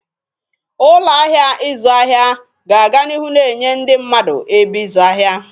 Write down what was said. Ụlọ ahịa ịzụ ahịa ga-aga n'ihu na-enye ndị mmadụ ebe ịzụ ahịa.